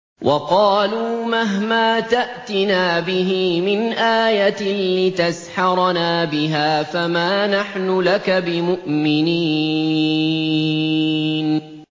وَقَالُوا مَهْمَا تَأْتِنَا بِهِ مِنْ آيَةٍ لِّتَسْحَرَنَا بِهَا فَمَا نَحْنُ لَكَ بِمُؤْمِنِينَ